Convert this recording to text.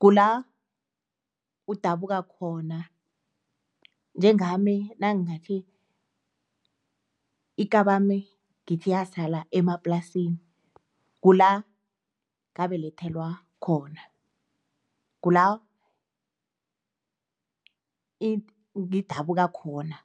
kula udabuka khona, njengami nangathi, ikabami ngithi yasala emaplasini, kula ngabelethwelwa khona. Kula ngidabuka khona.